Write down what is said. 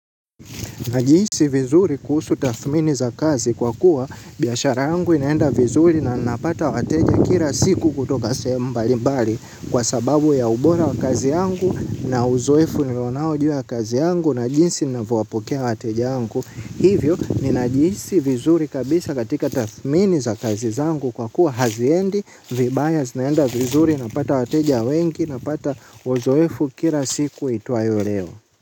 Najihisi vizuri kuhusu tathmini za kazi kwa kuwa biashara yangu inaenda vizuri na napata wateja kila siku kutoka sehemu mbalimbali kwa sababu ya ubora wa kazi yangu na uzoefu nilio nao juu ya kazi yangu na jinsi ninavyowapokea wateja wangu. Hivyo, ninajihisi vizuri kabisa katika tathmini za kazi zangu kwa kuwa haziendi, vibaya zinaenda vizuri napata wateja wengi napata uzoefu kila siku iitwayo leo.